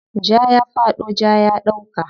Ja ya faɗo, ja ya ɗauka.